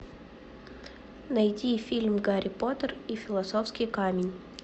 найди фильм гарри поттер и философский камень